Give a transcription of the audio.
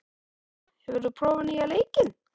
Baldvina, hefur þú prófað nýja leikinn?